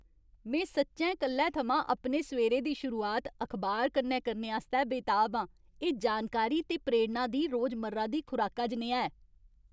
में सच्चैं कल्लै थमां अपने सवेरे दी शुरुआत अखबार कन्नै करने आस्तै बेताब आं। एह् जानकारी ते प्रेरणा दी रोजमर्रा दी खुराका जनेहा ऐ।